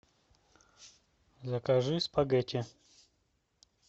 закажи спагетти